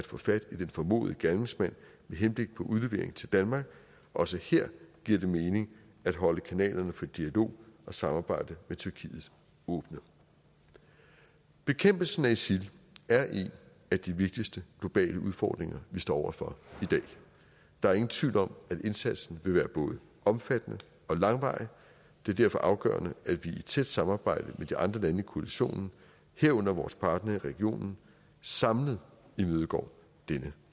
få fat i den formodede gerningsmand med henblik på udlevering til danmark også her giver det mening at holde kanalerne for dialog og samarbejde med tyrkiet åbne bekæmpelsen af isil er en af de vigtigste globale udfordringer vi står over for i dag der er ingen tvivl om at indsatsen vil være både omfattende og langvarig det er derfor afgørende at vi i et tæt samarbejde med de andre lande i koalitionen herunder vores partnere i regionen samlet imødegår denne